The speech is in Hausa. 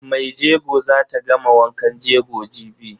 Maijego zata gama wankan jego jibi.